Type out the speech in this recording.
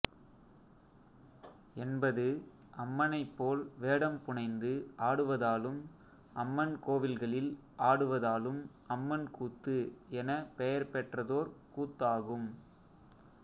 என்பது அம்மனைப் போல் வேடம் புனைந்து ஆடுவதாலும் அம்மன் கோவில்களில் ஆடுவதாலும் அம்மன் கூத்து எனப் பெயர்பெற்றதோர் கூத்தாகும்